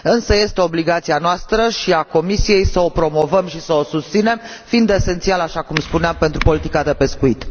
Însă, este obligația noastră și a Comisiei să o promovăm și să o susținem, fiind esențială, așa cum spuneam, pentru politica de pescuit.